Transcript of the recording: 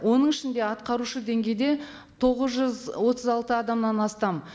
оның ішінде атқарушы деңгейде тоғыз жұз отыз алты адамнан астам